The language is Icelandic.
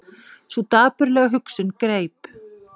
Sú dapurlega hugsun greip